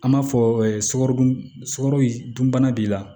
An b'a fɔ ɛ sukarodun sogo dun bana b'i la